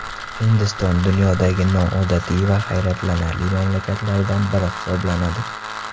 Hindiston dunyodagi noodatiy va hayratlanarli mamlakatlardan biri hisoblanadi.